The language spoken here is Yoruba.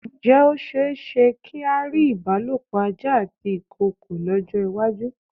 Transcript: Ǹjẹ́ ó ṣe-éṣe kí á rí ìbálòpọ̀ ajá àti ìkoòkò lọ́jọ́-ìwájú?